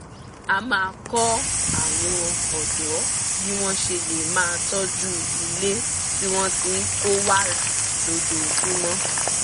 a máa kọ́ àwọn ọ̀dọ́ bí wọ́n ṣe lè máa tọ́jú ilé tí wọ́n ti kó wàrà lójoojúmọ́